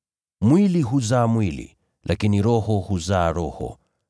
Mwili huzaa mwili, lakini Roho huzaa roho.